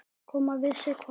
Koma við sig hvar?